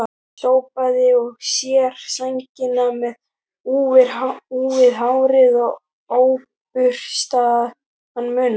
Sópaði að sér sænginni með úfið hár og óburstaðan munn.